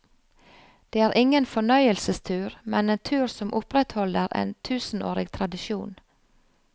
Det er ingen fornøyelsestur, men en tur som opprettholder en tusenårig tradisjon.